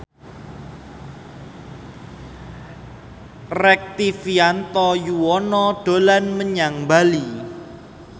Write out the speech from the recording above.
Rektivianto Yoewono dolan menyang Bali